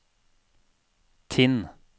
Tinn